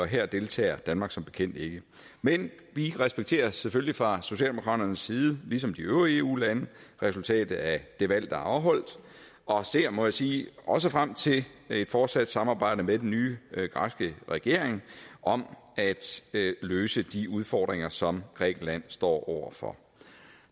her deltager danmark som bekendt ikke men vi respekterer selvfølgelig fra socialdemokraternes side ligesom de øvrige eu lande resultatet af det valg der er afholdt og ser må jeg sige også frem til et fortsat samarbejde med den nye græske regering om at løse de udfordringer som grækenland står over for